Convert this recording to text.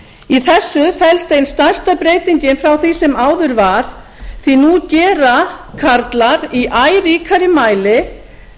í þessu felst ein stærsta breytingin frá því sem áður var því nú gera karlar í æ ríkari mæli